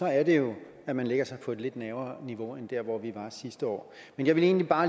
er det jo at man lægger sig på et lidt lavere niveau end der hvor vi var sidste år men jeg vil egentlig bare